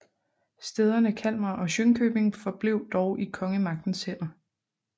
Stæderne Kalmar og Jönköping forblev dog i kongemagtens hænder